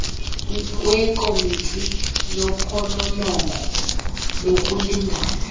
wekomiti yophononongo lokulingana